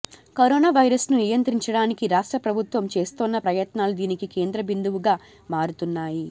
corona వైరస్ను నియంత్రించడానికి రాష్ట్ర ప్రభుత్వం చేస్తోన్న ప్రయత్నాలు దీనికి కేంద్రబిందువుగా మారుతున్నాయి